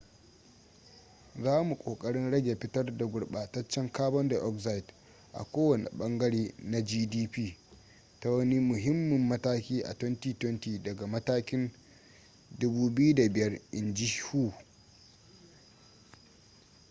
za mu kokarin rage fitar da gurbataccen carbon dioxide a kowane bangare na gdp ta wani muhimmin mataki a 2020 daga matakin 2005 in ji hu